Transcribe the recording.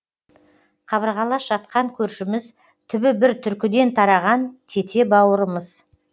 қабырғалас жатқан көршіміз түбі бір түркіден тараған тете бауырымыз